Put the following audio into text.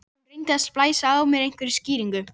Hún reyndi að splæsa á mig einhverjum skýringum.